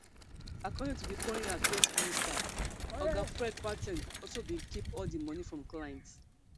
according to di foreign affairs minister oga fred kwar ten g also bin keep all di moni from clients